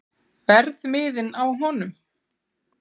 Verðmiðinn á honum?